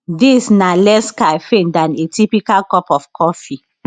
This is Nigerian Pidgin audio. dis na less caffeine dan a typical cup of coffee